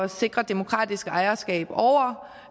sikre demokratisk ejerskab